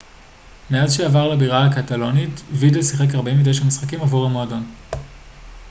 מאז שעבר לבירה הקטלונית וידל שיחק 49 משחקים עבור המועדון